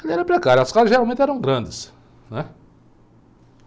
era precário, as casas geralmente eram grandes, né?